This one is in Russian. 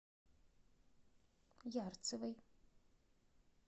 ярцевой